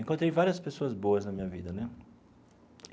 Encontrei várias pessoas boas na minha vida, né?